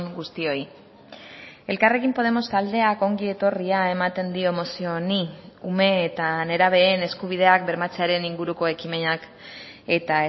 guztioi elkarrekin podemos taldeak ongi etorria ematen dio mozio honi ume eta nerabeen eskubideak bermatzearen inguruko ekimenak eta